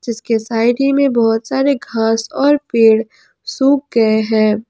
इसके साइड ही में बहुत सारे घास और पेड़ सुख गए हैं।